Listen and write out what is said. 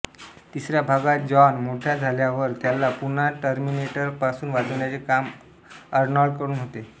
तिसऱ्या भागात जॉन मोठ्या झाल्यावर त्याला पुन्हा टर्मिनेटर पासून वाचवण्याचे काम अरनॉल्डकडून होते